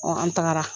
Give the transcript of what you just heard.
an tagara